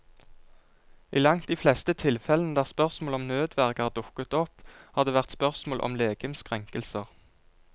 I langt de fleste tilfellene der spørsmål om nødverge har dukket opp, har det vært spørsmål om legemskrenkelser.